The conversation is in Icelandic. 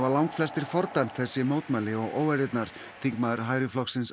langflestir fordæmt þessi mótmæli og óeirðirnar þingmaður hægri flokksins